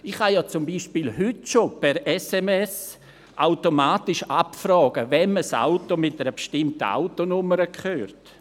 Ich kann ja zum Beispiel per SMS heute schon automatisch abfragen, wem ein Auto mit einer bestimmten Autonummer gehört.